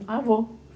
Ah, vou.